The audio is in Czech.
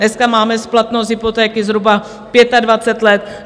Dnes máme splatnost hypotéky zhruba 25 let.